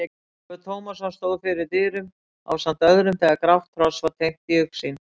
Ólafur Tómasson stóð fyrir dyrum ásamt öðrum þegar grátt hross var teymt í augsýn.